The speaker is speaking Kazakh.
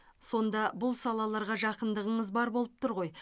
сонда бұл салаларға жақындығыңыз бар болып тұр ғой